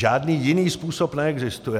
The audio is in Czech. Žádný jiný způsob neexistuje.